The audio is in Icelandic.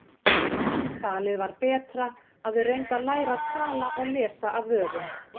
Talið var betra að þau reyndu að læra að tala og lesa af vörum.